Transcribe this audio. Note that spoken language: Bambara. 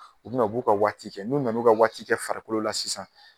U bɛna u b'u ka waati kɛ, n'u nan'u ka waati kɛ farikolo la sisan